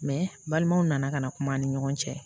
Mɛ balimaw nana ka na kuma an ni ɲɔgɔn cɛ